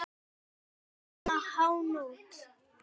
Svona um hánótt.